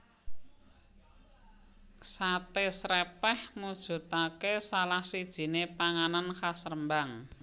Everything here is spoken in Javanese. Sate Srèpèh mujudake salah sijiné panganan khas Rembang